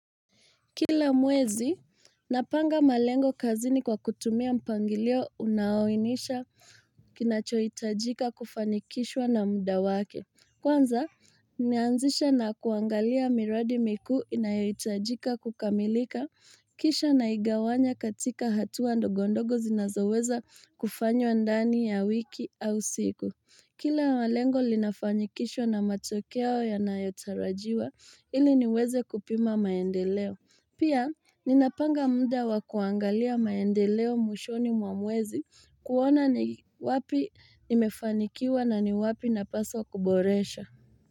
Kila mwezi, napanga malengo kazini kwa kutumia mpangilio unaoainisha kinachohitajika kufanikishwa na muda wake. Kwanza, nimeanzisha na kuangalia miradi mikuu inayohitajika kukamilika, kisha naigawanya katika hatua ndogondogo zinazoweza kufanywa ndani ya wiki au siku. Kila malengo linafanyikishwa na matokeo yanayotarajiwa ili niweze kupima maendeleo. Pia ninapanga muda wakuangalia maendeleo mwishoni mwa mwezi kuona ni wapi nimefanikiwa na ni wapi napaswa kuboresha.